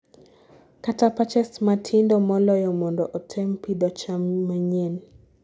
kata patches matindo moloyo mondo otem pidho cham manyien